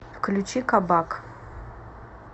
включи кабак